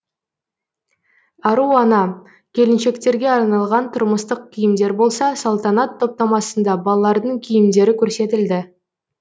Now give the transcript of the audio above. ару ана келіншектерге арналған тұрмыстық киімдер болса салтанат топтамасында балалардың киімдері көрсетілді